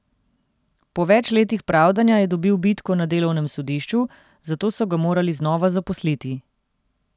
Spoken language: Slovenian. Po več letih pravdanja je dobil bitko na delovnem sodišču, zato so ga morali znova zaposliti.